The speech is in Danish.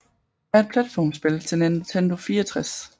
er et platformspil til Nintendo 64